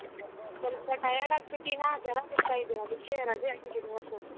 ಸ್ವಲ್ಪ tired ಆಗ್ಬಿಟ್ಟಿನ ಜ್ವರ ಬಿಡ್ತಾ ಅದಕ್ಕೆ ರಜೆ ಹಾಕಿದೀನಿ ಇವತ್ತು.